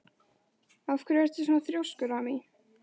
Af hverju ertu svona þrjóskur, Amý?